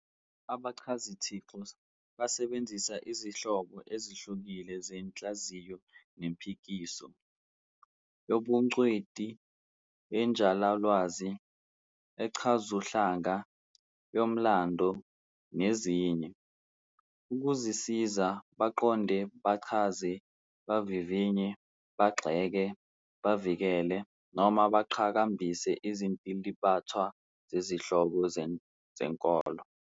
Abachazithixo basebenzisa izinhlobo ezihlukile zenhlaziyo nempikiso, yobungcweti, yenjulalwazi, echazuhlanga, yomlando, nezinye, ukuzisiza baqonde, bachaze, bavivinye, bagxeke, bavikele noma baqhakambise izintilibathwa zezihloko zenkolo.